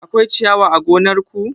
Akwai ciyawa a gonar ko?